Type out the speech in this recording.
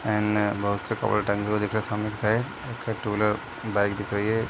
एन्ने बहुत से कपड़े टंगे हुए दिख रहे हैं सामने के साइड एक ठो टू व्हीलर बाइक दिख रही है।